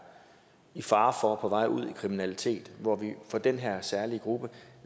i fare for at være på vej ud i kriminalitet for den her særlige gruppe